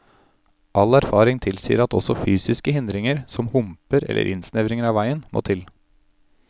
All erfaring tilsier at også fysiske hindringer, som humper eller innsnevringer av veien, må til.